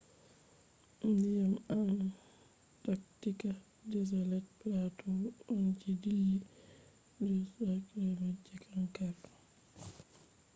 ndiyam antaktika desolet platu on je dillil 2-3km je kankara